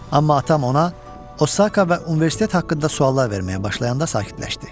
Amma atam ona Osaka və universitet haqqında suallar verməyə başlayanda sakitləşdi.